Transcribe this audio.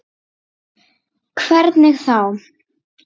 Ásgeir: Hvernig þá?